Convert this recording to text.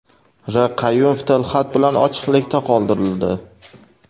R. Qayumov tilxat bilan ochiqlikda qoldirildi.